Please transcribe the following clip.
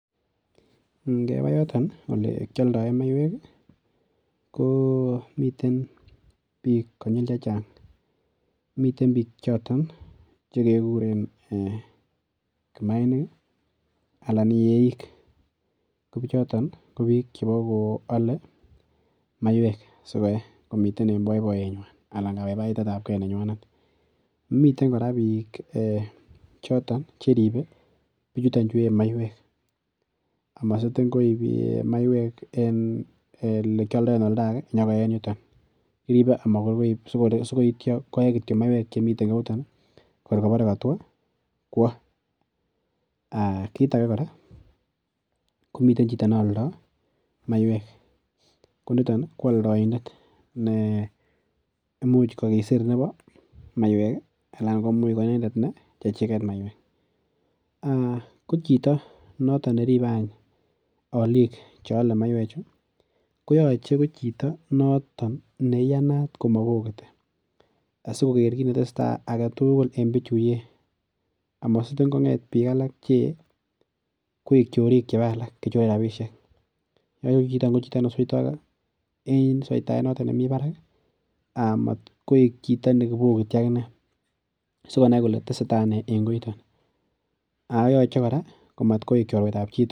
Ngeba yoton olekialdoen maiywek komiten biik konyil che chang. Miten biik choton che kaguren kimainik anan yeik anan biichoton ko bokoale maiywek si koe. Komiten en boiboiyenywan anan kabaibaitetab ke nenywanet. Miten kora biik chiton che ribe biichuton chu yee maiywek amasitin koip maiywek en elekialdoen oldage nyokoye en yuton kirebe amagor koe kityo maiywek che miten en ko yuton kor bore katwo kwo. Kit age kora komi chito ne aldo maiywek. Ko noton ko aldoindet ne imuch kokisir nebo maiywek anan komi ko inendet ne chechiget maiywek. Ko chito noton ne ribe any alik che ale maiywek chu koyoche ko chito noton ne iyanat komobokiti asikoger kit ne teseta age tugul en biichu yee amasitin konget biik alak che yee koik chorik chebo alak cheibe rapisiek. Yoche ko chichiton ko chito ne seito en soitaet noto ne mibarak amat koik chito ne bokiti ak inne sigonai kole teseta ne en koiton ago yoche kora matkoik chorwetab chitugul